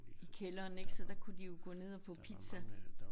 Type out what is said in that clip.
I kælderen ik så der kunne de jo gå ned og få pizza